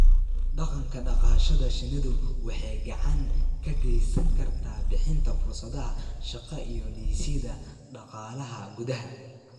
Dhaqanka dhaqashada shinnidu waxay gacan ka geysan kartaa bixinta fursadaha shaqo iyo dhisidda dhaqaalaha gudaha.